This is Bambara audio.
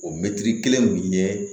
O mɛtiri kelen ɲɛ